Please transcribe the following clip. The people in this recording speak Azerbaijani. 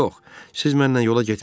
Yox, siz mənlə yola getmirsiz.